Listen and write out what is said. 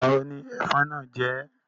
Ìgbà wo ni ẹ̀fọn náà jẹ́ ẹ́?